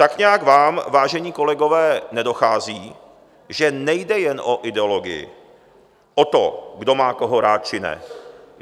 Tak nějak vám, vážení kolegové, nedochází, že nejde jen o ideologii, o to, kdo má koho rád či ne.